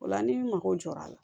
O la ni mago jɔra a la